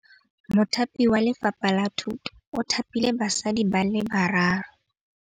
Mothapi wa Lefapha la Thutô o thapile basadi ba ba raro.